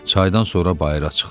Çaydan sonra bayıra çıxdı.